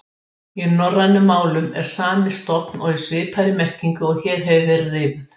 Fákafeni